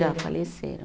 Já faleceram.